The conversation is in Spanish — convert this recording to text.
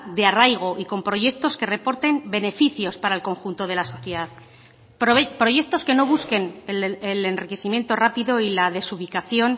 de arraigo y con proyectos que reporten beneficios para el conjunto de la sociedad proyectos que no busquen el enriquecimiento rápido y la desubicación